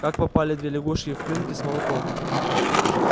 как попали две лягушки в крынки с молоком